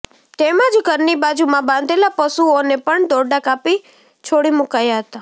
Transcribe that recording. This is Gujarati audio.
તેમજ ઘરની બાજુમાં બાંધેલા પશુઓને પણ દોરડાં કાપી છોડી મુકાયા હતા